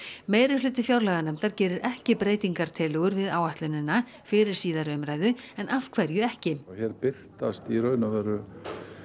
meirihluti fjárlaganefndar gerir ekki breytingartillögur við áætlunina fyrir síðari umræðu en af hverju ekki hér birtast í raun og veru